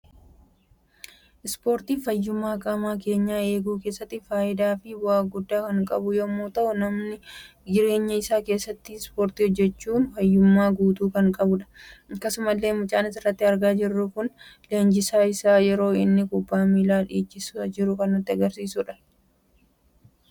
Spoortiin faayyummaa qaama keenyaa eeguu keessatti faayidaa fi bu'a guddaa kan qabu yemmu ta'u namni jireenya isaa keessatti spoortii hojjetu faayyumaa guutuu kan qabudha. Akkasumallee mucaan asirratti argaa jirru kun leenjisaan isaa yeroo inno kubbaa miilaa dhiichisaa jiru kan nutti agarsiisuudha.